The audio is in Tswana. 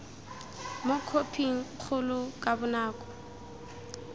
mo khophing kgolo ka bonako